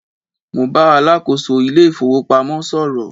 Mo bá alákòóso ilé ìfowópamọ́ sọ̀rọ̀